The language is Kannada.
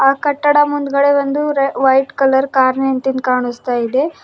ಆ ಕಟ್ಟಡ ಮುಂದ್ಗಡೆ ಒಂದು ವೈಟ್ ಕಲರ್ ಕಾರ್ ನಿಂತಿನ್ದ್ ಕಾಣಿಸ್ತಾ ಇದೆ.